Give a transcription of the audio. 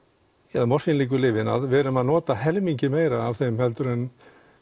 eða lyfin við erum að nota helmingi meira af þeim heldur en